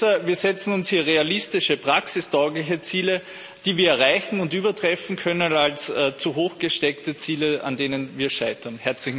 Besser, wir setzen uns hier realistische, praxistaugliche Ziele, die wir erreichen und übertreffen können, als zu hoch gesteckte Ziele, an denen wir scheitern.